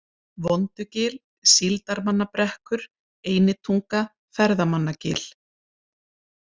Vondugil, Síldarmannabrekkur, Einitunga, Ferðamannagil